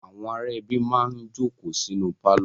Àwọn ará ẹbí máa ń jókòó sínú pálọ̀.